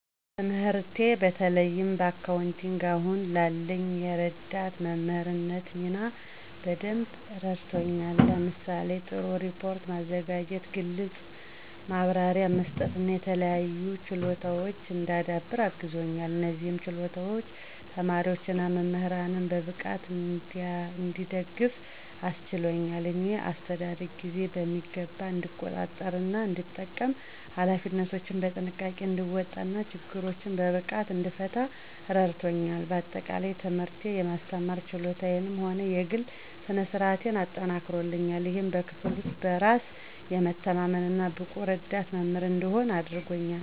ትምህርቴ በተለይም በአካውንቲንግ አሁን ላለኝ የረዳት መምህርነት ሚና በደንብ አረድቶኛል። ለምሳሌ:- ጥሩ ሪፖርት ማዘጋጀት፣ ግልጽ ማብራሪያ መስጠት እና የተለያዩ ችሎታወችን እንዳዳብር አግዞኛል። እነዚህም ችሎታዎች ተማሪዎች እና መምህራንን በብቃት እንድደግፍ አስችሎኛል። የእኔ አስተዳደግ ጊዜን በሚገባ እንድቆጣጠር እና እንድጠቀም፣ ኃላፊነቶችን በጥንቃቄ እንድወጣ እና ችግሮችን በብቃት እንድፈታ እረዳቶኛል። በአጠቃላይ፣ ትምህርቴ የማስተማር ችሎታዬንም ሆነ የግሌ ስነ-ስርአቴን አጠናክሯል፣ ይህም በክፍል ውስጥ በራስ የመተማመን እና ብቁ ረዳት መምህር እንድሆን አድርጎኛል።